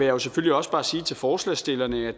jo selvfølgelig også bare sige til forslagsstillerne at